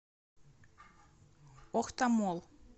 охта молл